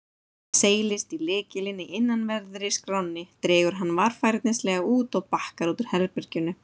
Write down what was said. Seilist í lykilinn í innanverðri skránni, dregur hann varfærnislega út og bakkar út úr herberginu.